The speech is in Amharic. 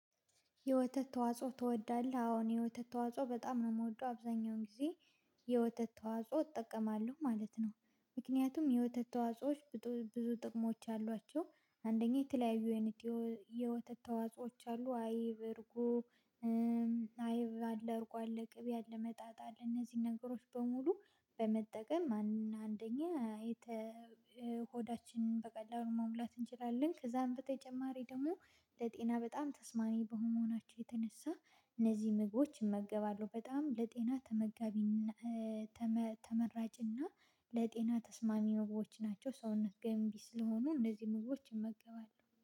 የወተት ተዋጽኦ ትወዳለህ አዎ እኔ የወተት ተዋጽኦ በጣም ነው ምወደው አብዛኛውን ጊዜ የወተት ተዋጽኦ እጠቀማለው ማለት ነው። ምክንያቱም የወተት ተዋጽኦዎች ብዙ ጥቅሞች አሏቸው። አንደኛ የተለያዩ አይነት የወተት ተዋጾዎች አሉ አይብ እርጐ አይብ አለ እርጐ አለ ቅቤ አለ መጣጣል እነዚህን ነገሮች በሙሉ በመጠቀም አንደኛ ሆዳችንን በቀላሉ መሙላት እንችላለን። ከዛም በተጨማሪ ደግሞ ለጤና በጣም ተስማሚ በመሆናቸው የተነሳ እነዚህ ምግቦች እመገባለው በጣም ለጤና ተመጋቢና ተመራጭና ለጤና ተስማሚ ምግቦች ናቸው። ሰውነት ገንቢ ስለሆኑ እነዚህን ምግቦች እመገባለው